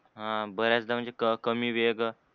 ह बऱ्याचदा म्हणजे कमी वेग